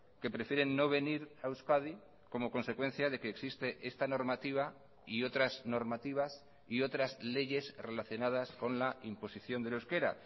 que prefieren no venir a euskadi como consecuencia de que existe esta normativa y otras normativas y otras leyes relacionadas con la imposición del euskera